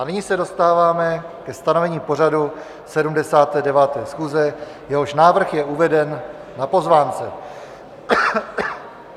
A nyní se dostáváme ke stanovení pořadu 79. schůze, jehož návrh je uveden na pozvánce.